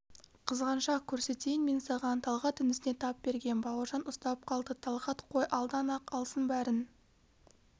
қызғаншақ көрсетейін мен саған талғат інісіне тап берген бауыржан ұстап қалды талғат қой алдан-ақ алсын бәрін